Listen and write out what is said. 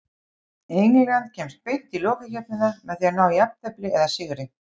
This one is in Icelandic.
England kemst beint í lokakeppnina með því að ná jafntefli eða sigri.